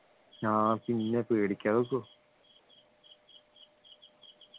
ആഹ് പിന്നെ പേടിക്കാതെ നിക്കോ